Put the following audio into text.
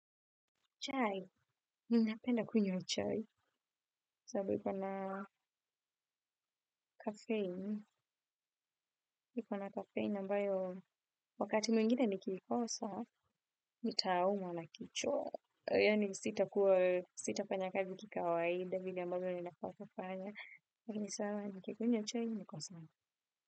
Chai, ninapenda kunywa chai, sababu na kafeini, iko na kafeini ambayo wakati mwingine nikiikosa, nitaumwa na kichwa. Yani sitakuwa, sitafanya kazi kikawaida, vile ambavyo ninafaa kufanya. Kwa kini sawa, nikikunywa chai, nikosa.